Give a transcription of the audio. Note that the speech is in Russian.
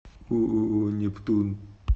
ооо нептун